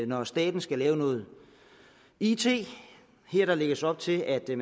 når staten skal lave noget it her lægges op til at de